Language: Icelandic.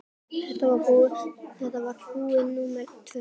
Þetta var brú númer tvö.